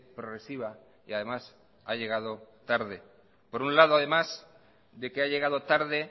progresiva y además ha llegado tarde por un lado además de que ha llegado tarde